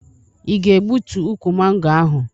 Ị ga-egbutu ukwu mango ahụ?